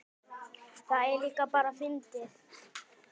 Það er líka bara fyndið.